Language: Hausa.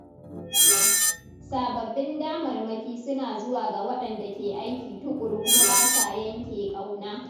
Sababbin damarmaki suna zuwa ga waɗanda ke aiki tuƙuru kuma ba sa yanke ƙauna.